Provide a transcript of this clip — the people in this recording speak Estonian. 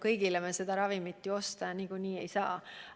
Kõigile me seda ravimit ju osta niikuinii ei jaksa.